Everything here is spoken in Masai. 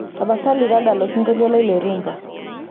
tapasali tadala osingolio lai le rhumba